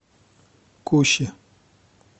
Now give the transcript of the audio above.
куще